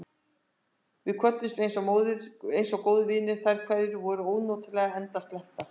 Við kvöddumst einsog góðir vinir, og þær kveðjur voru ónotalega endasleppar.